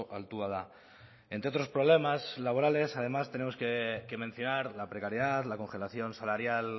altua da entre otros problemas laborales además tenemos que mencionar la precariedad la congelación salarial